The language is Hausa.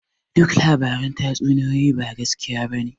Duk labaran tatsuniyoyi ba gaskiya bane